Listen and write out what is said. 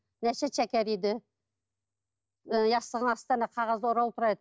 жастығының астында қағазда ораулы тұрады